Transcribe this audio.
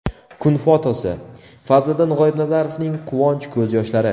Kun fotosi: Fazliddin G‘oibnazarovning quvonch ko‘z yoshlari.